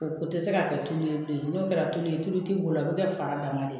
O tɛ se ka kɛ tulu ye bilen n'o kɛra tululen tulu ti boro a bɛ kɛ fa dama de